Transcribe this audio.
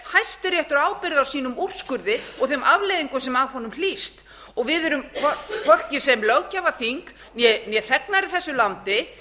hæstiréttur ábyrgð á sínum úrskurði og þeim afleiðingum sem af honum hlýst við erum hvorki sem löggjafarþing né þegnar í þessu landi